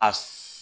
A